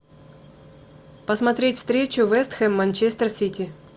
посмотреть встречу вест хэм манчестер сити